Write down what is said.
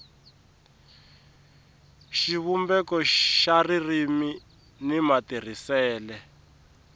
xivumbeko xa ririmi ni matirhisele